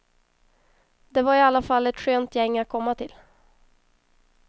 Det var i alla fall ett skönt gäng att komma till.